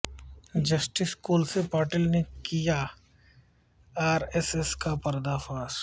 justice Kolse Patil نے کیا R S S کا پردہ فاش